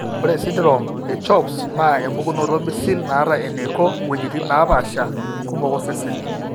Ore esindirom eCHOPS naa empukunoto misil naata eneiko iwuejitin naapaasha kumok osesen.